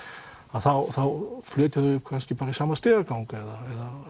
þá flytja þau kannski bara í sama stigagang eða